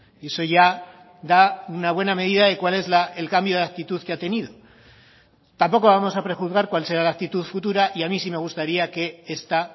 y eso ya da una buena medida de cuál es el cambio de actitud que ha tenido tampoco vamos a prejuzgar cuál será la actitud futura y a mí sí me gustaría que esta